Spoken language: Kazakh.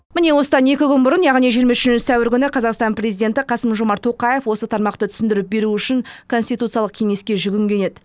міне осыдан екі күн бұрын яғни жиырма үшінші сәуір күні қазақстан президенті қасым жомарт тоқаев осы тармақты түсіндіріп беру үшін конституциялық кеңеске жүгінген еді